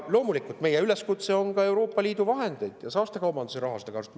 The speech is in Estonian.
Loomulikult on meie üleskutse ka Euroopa Liidu vahendeid ja saastekaubanduse raha kasutada.